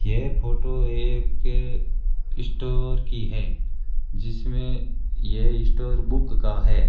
यह फोटो एक स्टोर की है जिसमें ये स्टोर बुक का है।